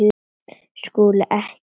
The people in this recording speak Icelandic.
SKÚLI: Ekki of viss!